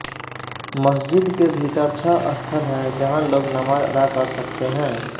मस्जिद के भीतर छह स्थल हैं जहां लोग नमाज अदा कर सकते हैं